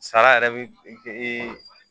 Sara yɛrɛ bi ɛ